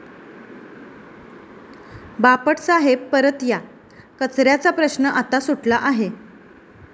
बापट साहेब परत या, कचऱ्याचा प्रश्न आता सुटला आहे'